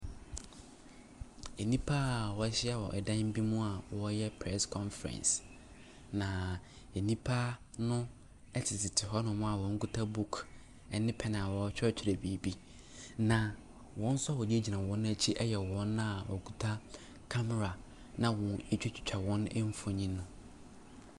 Nnipa wɔahyia wɔ dan bi mu a wɔreyɛ press conference na nnipa no tete hɔnom a wɔkita buku ne pɛn a wɔretwerɛtwerɛ biribi, na wɔn nso wɔgyinagyina wɔn akyi no yɛ wɔn a wɔkita camera na wɔde ɛretwitwa wɔn mfonin.